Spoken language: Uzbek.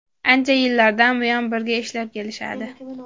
Ancha yillardan buyon birga ishlab kelishadi.